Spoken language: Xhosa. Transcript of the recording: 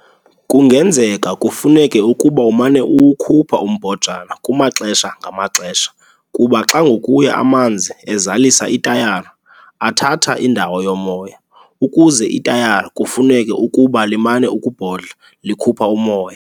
Kungenzeka kufuneke ukuba umane uwukhupha umbhojana kumaxesha ngamaxesha kuba xa ngokuya amanzi ezalisa itayara athatha indawo yomoya ukuze itayara kufuneke ukuba limane "ukubhodla" likhupha umoya.